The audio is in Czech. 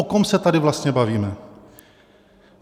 O kom se tady vlastně bavíme?